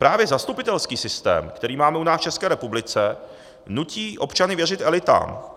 Právě zastupitelský systém, který máme u nás v České republice, nutí občany věřit elitám.